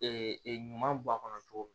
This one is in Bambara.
ɲuman bɔ a kɔnɔ cogo min